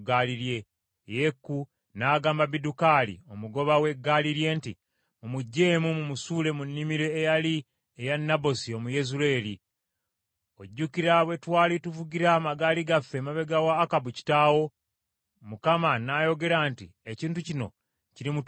Yeeku n’agamba Bidukali, omugoba we ggaali lye nti, “Mumuggyeemu, mumusuule mu nnimiro eyali eya Nabosi Omuyezuleeri. Ojjukira bwe twali tuvugira amagaali gaffe emabega wa Akabu kitaawe, Mukama n’ayogera nti ekintu kino kirimutuukako.